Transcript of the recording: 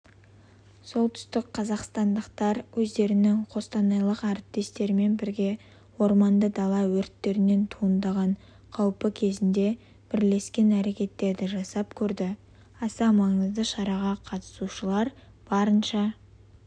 солтүстік қазақстандықтар өздерінің қостанайлық әріптестерімен бірге орманды дала өрттерінен туындаған қаупі кезінде бірлескен әрекеттерді жасап көрді аса маңызды шараға қатысушалар барынша